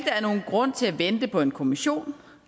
er nogen grund til at vente på en kommission